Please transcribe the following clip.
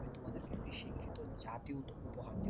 আমি তোমাদেরকে একটি শিক্ষিত জাতি উপহার দেবো।